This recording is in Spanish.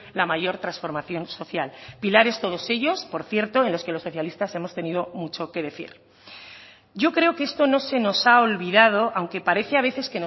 la mayor transformación social pilares todos ellos por cierto en los que los socialistas hemos tenido mucho que decir yo creo que esto no se nos ha olvidado aunque parece a veces